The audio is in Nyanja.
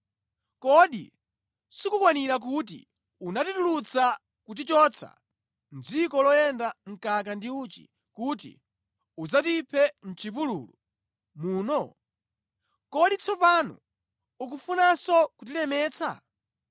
Kodi sikukwanira kuti unatitulutsa, kutichotsa mʼdziko loyenda mkaka ndi uchi kuti udzatiphe mʼchipululu muno? Kodi tsopano ukufunanso kutilemetsa?